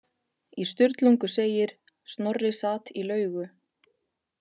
Í Sturlungu segir: Snorri sat í laugu